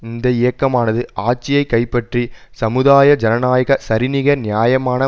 இந்த இயக்கமானது ஆட்சியை கைப்பற்றி சமுதாய ஜனநாயக சரிநிகர் நியாயமான